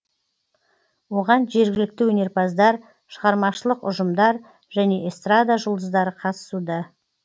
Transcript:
оған жергілікті өнерпаздар шығармашылық ұжымдар және эстрада жұлдыздары қатысуда